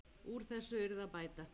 Úr þessu yrði að bæta.